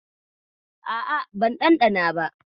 A'a, ban ɗanɗana ba.